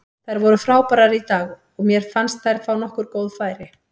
Þær voru frábærar í dag og mér fannst þær fá nokkur góð færi.